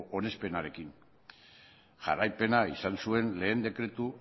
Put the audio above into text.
onespenarekin jarraipena izan zuen lehen dekretu